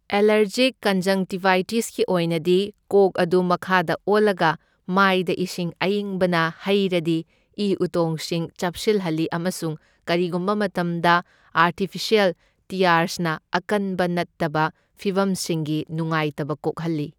Allergic ꯀꯟꯖꯪꯛꯇꯤꯚꯥꯏꯇꯤꯁꯀꯤ ꯑꯣꯏꯅꯗꯤ, ꯀꯣꯛ ꯑꯗꯨ ꯃꯈꯥꯗ ꯑꯣꯜꯂꯒ ꯃꯥꯢꯗ ꯏꯁꯤꯡ ꯑꯌꯤꯡꯕꯅ ꯍꯩꯔꯗꯤ ꯢ ꯎꯇꯣꯡꯁꯤꯡ ꯆꯞꯁꯤꯟꯍꯜꯂꯤ ꯑꯃꯁꯨꯡ ꯀꯔꯤꯒꯨꯝꯕ ꯃꯇꯝꯗ ꯑꯥꯔꯇꯤꯐꯤꯁ꯭ꯌꯦꯜ ꯇꯤꯌꯥꯔꯁꯅ ꯑꯀꯟꯕ ꯅꯠꯇꯕ ꯐꯤꯚꯝꯁꯤꯡꯒꯤ ꯅꯨꯡꯉꯥꯢꯇꯕ ꯀꯣꯛꯍꯜꯂꯤ꯫